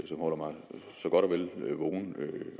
som holder mig så godt og vel vågen